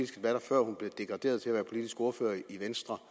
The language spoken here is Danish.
degraderede til at være politisk ordfører i venstre